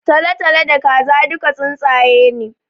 Talatalo da Kaza duka tsuntsaye ne